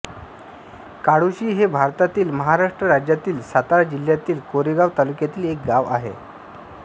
काळोशी हे भारतातील महाराष्ट्र राज्यातील सातारा जिल्ह्यातील कोरेगाव तालुक्यातील एक गाव आहे